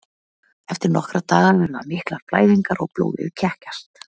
Eftir nokkra daga verða miklar blæðingar og blóðið kekkjast.